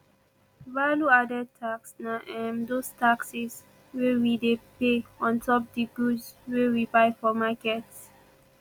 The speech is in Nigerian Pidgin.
value added tax na um those taxes wey we dey pay ontop di goods wey we buy for market ]